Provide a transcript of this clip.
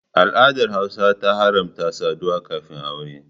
Al'adar Hausawa ta haramta saduwa kafin Aure.